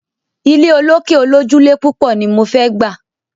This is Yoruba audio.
Ilé olókè olójúlé púpọ̀ ni mo fẹ́ gbà.